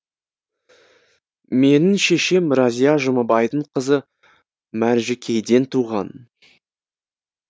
менің шешем рәзия жұмабайдың қызы мәржікейден туған